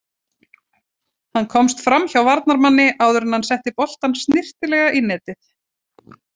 Hann komst framhjá varnarmanni áður enn hann setti boltann snyrtilega í netið.